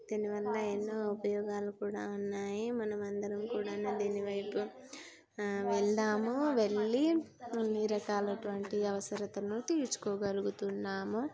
దీని వల్ల ఎన్నో ఉపయోగాలు కూడా ఉన్నాయి. మనం అందరం కూడాను దీని వైపు ఆ వెళ్దాము వెళ్లి అన్ని రకాలటువంటి అవసరతను తీర్చుకోగలుగుతున్నాము.